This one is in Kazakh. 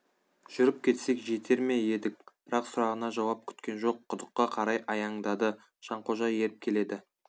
жүріп кетсек жетер ме едік бірақ сұрағына жауап күткен жоқ құдыққа қарай аяңдады жанқожа еріп келеді